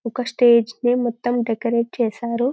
ఒక స్టేజి ని మొత్తం డెకరేట్ చేసారు